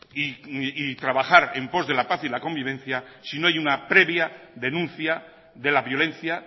y trabajar en pos de la paz y la convivencia si no hay una previa denuncia de la violencia